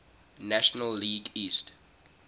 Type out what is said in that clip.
national league east